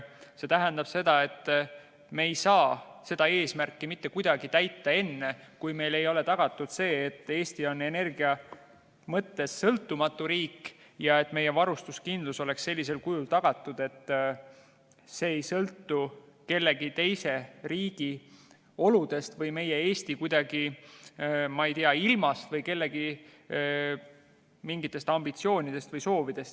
See tähendab, et me ei saa seda eesmärki mitte kuidagi täita enne, kui meil ei ole tagatud, et Eesti on energia mõttes sõltumatu riik ja et meie varustuskindlus oleks sellisel kujul tagatud, et see ei sõltu ühegi teise riigi oludest või Eesti ilmast või kellegi mingitest ambitsioonidest või soovidest.